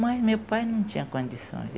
Mas meu pai não tinha condições.